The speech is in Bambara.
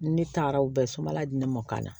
Ne taara u bɛɛ sobala di ne mɔkana